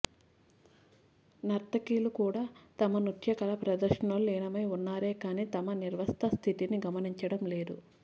నర్తకిలు కూడా తమ నృత్య కళ ప్రదర్శనలో లీనమై ఉన్నారే కానీ తమ నిర్వస్త్ర స్థితిని గమనించడంలేదు